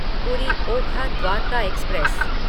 पूरी ओखा द्वारका एक्सप्रेस